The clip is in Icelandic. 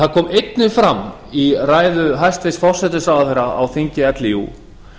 það kom einnig fram í ræðu hæstvirts forsætisráðherra á þingi líú